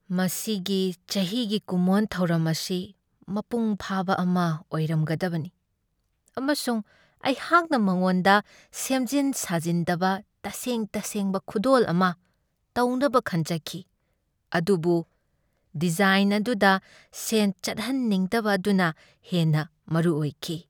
ꯃꯁꯤꯒꯤ ꯆꯍꯤꯒꯤ ꯀꯨꯝꯑꯣꯟ ꯊꯧꯔꯝ ꯑꯁꯤ ꯃꯄꯨꯡ ꯐꯥꯕ ꯑꯃ ꯑꯣꯏꯔꯝꯒꯗꯕꯅꯤ, ꯑꯃꯁꯨꯡ ꯑꯩꯍꯥꯛꯅ ꯃꯉꯣꯟꯗ ꯁꯦꯝꯖꯤꯟ ꯁꯥꯖꯤꯟꯗꯕ ꯇꯁꯦꯡ ꯇꯁꯦꯡꯕ ꯈꯨꯗꯣꯜ ꯑꯃ ꯇꯧꯅꯕ ꯈꯟꯖꯈꯤ꯫ ꯑꯗꯨꯕꯨ ꯗꯤꯖꯥꯏꯟ ꯑꯗꯨꯗ ꯁꯦꯟ ꯆꯠꯍꯟꯅꯤꯡꯗꯕ ꯑꯗꯨꯅ ꯍꯦꯟꯅ ꯃꯔꯨꯑꯣꯏꯈꯤ ꯫